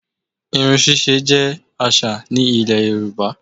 Irun ṣíṣe jẹ́ àṣà ní Ilẹ̀ Yorùbá